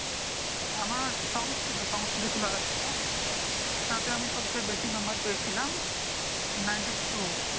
আমার সংস্কৃত সংস্কৃত ছিলো একটা ওটাতে আমি সব থেকে বেশি নাম্বার পেয়েছিলাম Ninety two